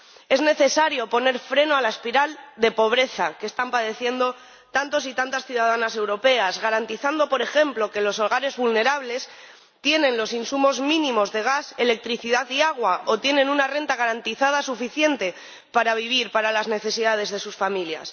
Es necesario poner freno a la espiral de pobreza que están padeciendo tantos y tantas ciudadanas europeas, garantizando, por ejemplo, que los hogares vulnerables tienen los insumos mínimos de gas, electricidad y agua, o tienen una renta garantizada suficiente para vivir, para las necesidades de sus familias